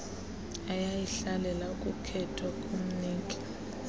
eyayihlalele ukukhethwa komniki